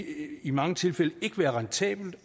i mange tilfælde ikke være rentabelt